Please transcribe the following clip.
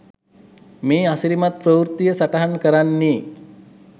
මේ අසිරිමත් ප්‍රවෘත්තිය සටහන් කරන්නේ